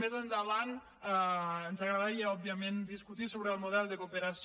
més endavant ens agradaria òbviament discutir sobre el model de cooperació